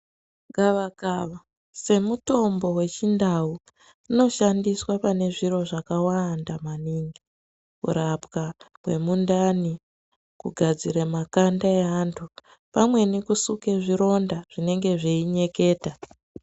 Gavakava semutombo wechindau unoshandiswa pane zviro zvakawanda maningi. Kurapwa kwemundani, kugadzira makanda eantu pamweni kusuka zvironda zvinenge zveinyetika.